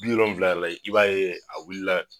Bi wolonwula yɛrɛ la, i b'a ye a wulila